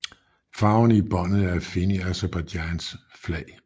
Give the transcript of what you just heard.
Farverne i båndet er at finde i Aserbajdsjans flag